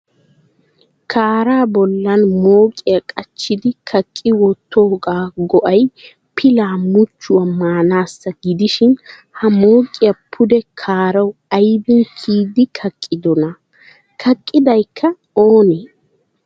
Kaaraa bollan mooqiya qachchidi kaaqqi wottoogaa go'ay pilaa muchchuwaa maanaassa gidishin ha mooqiya pude kaarawu ayiban kiyidi kaqqidonaa? Kaqqidayikka oonee?